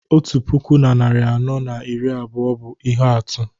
otu puku na narị anọ na iri abụọ bụ ihe atụ